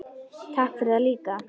Takk fyrir það líka.